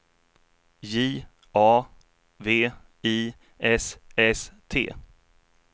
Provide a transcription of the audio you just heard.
J A V I S S T